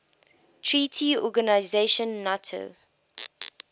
treaty organization nato